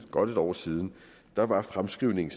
godt et år siden var var fremskrivningen